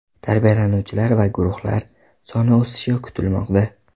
Tarbiyalanuvchilar va guruhlar soni o‘sishi kutilmoqda.